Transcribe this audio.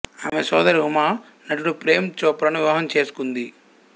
ఆమె సోదరి ఉమా నటుడు ప్రేమ్ చోప్రాను వివాహం చేసుకుంది